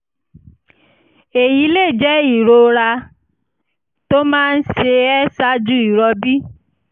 èyí lè jẹ́ ìrora tó máa ń ṣe ẹ́ ṣáájú ìrọbí